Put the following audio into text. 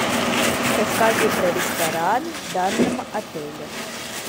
расскажи про ресторан в данном отеле